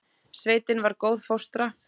Sveitin var góð fóstra.